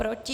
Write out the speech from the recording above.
Proti?